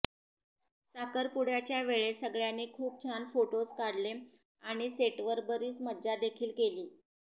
साखरपुड्याच्या वेळेस सगळ्यांनी खूप छान फोटोज काढले आणि सेटवर बरीच मज्जा देखील केली